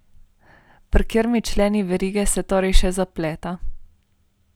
Pri katerem členu verige se torej še zapleta?